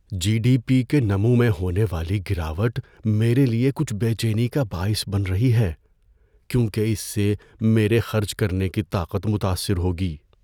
جی D P کے نمو میں ہونے والی گراوٹ میرے لیے کچھ بے چینی کا باعث بن رہی ہے کیونکہ اس سے میرے خرچ کرنے کی طاقت متاثر ہوگی۔